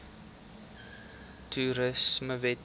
toerismewette